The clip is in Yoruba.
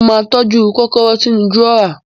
Mo ma tọ́jú kòkòrò sínú dùrọ́á